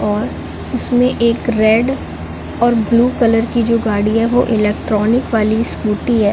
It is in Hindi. और इसमें एक रेड और ब्लू कलर की जो गाड़ियाँ है वो इलेक्ट्रॉनिक वाली स्कूटी है।